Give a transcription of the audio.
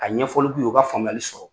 A ɲɛfɔli k'u ye u ka faamuyali sɔrɔ